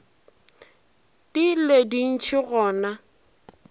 di le dintši go na